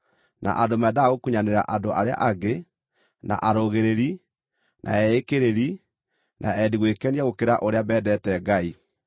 na andũ mendaga gũkunyanĩra andũ arĩa angĩ, na arũgĩrĩri, na eĩkĩrĩri, na endi gwĩkenia gũkĩra ũrĩa mendete Ngai.